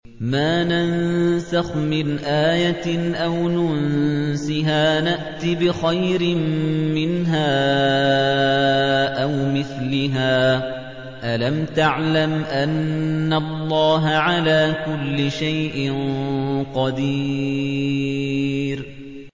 ۞ مَا نَنسَخْ مِنْ آيَةٍ أَوْ نُنسِهَا نَأْتِ بِخَيْرٍ مِّنْهَا أَوْ مِثْلِهَا ۗ أَلَمْ تَعْلَمْ أَنَّ اللَّهَ عَلَىٰ كُلِّ شَيْءٍ قَدِيرٌ